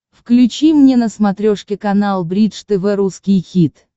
включи мне на смотрешке канал бридж тв русский хит